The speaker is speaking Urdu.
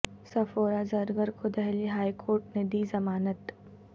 صفورہ زرگر کو دہلی ہائی کورٹ نے دی ضمانت